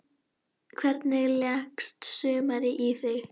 Hvernig leggst sumarið í þig?